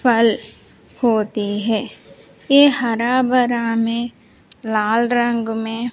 फल होते हैं ये हरा भरा में लाल रंग में --